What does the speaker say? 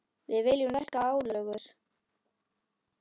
Við viljum lækka álögur.